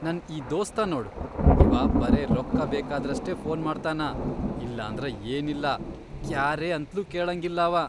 ನನ್ ಈ ದೋಸ್ತ ನೋಡ್ ಇವಾ ಬರೇ ರೊಕ್ಕ ಬೇಕಾದ್ರಷ್ಟೇ ಫೋನ್ ಮಾಡ್ತಾನ, ಇಲ್ಲಂದ್ರ ಏನಿಲ್ಲಾ.. ಕ್ಯಾರೇ ಅಂತ್ಲೂ ಕೇಳಂಗಿಲ್ಲಾಂವಾ.